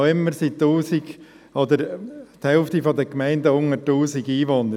Noch immer hat die Hälfte der Gemeinden unter 1000 Einwohner.